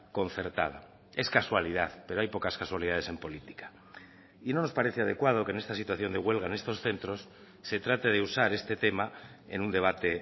concertada es casualidad pero hay pocas casualidades en política y no nos parece adecuado que en esta situación de huelga en estos centros se trate de usar este tema en un debate